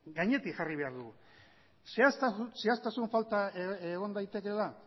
gainetik jarri behar du zehaztasun falta egon daitekeela